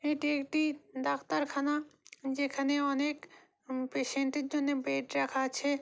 এটি একটি ডাক্তারখানা যেখানে অনেক পেশেন্টের জন্য অনেক বেড রাখা আছে।